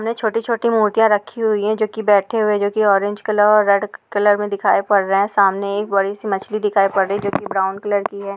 छोटी-छोटी मूर्तियां रखी हुई हैं जो कि बैठे हुए जो कि ऑरेंज कलर और रेड कलर में दिखाई पड़ रहे हैं। सामने एक बड़ी सी मछली दिखाई पड़ रही है जो कि ब्राउन कलर की है।